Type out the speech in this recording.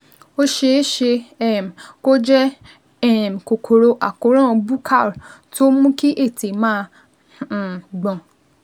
Ó ṣeé ṣe um kó jẹ́ um kòkòrò àkóràn buccal tó ń mú kí ètè máa um gbọ̀n